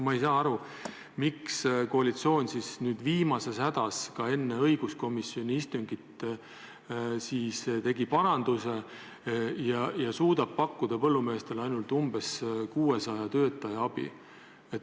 Ma ei saa aru, miks tegi koalitsioon nüüd viimases hädas enne õiguskomisjoni istungit paranduse ja suudab pakkuda põllumeestele ainult umbes 600 töötaja abi.